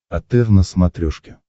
отр на смотрешке